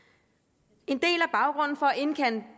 en at indkalde